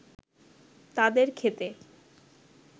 তাদের ক্ষেতে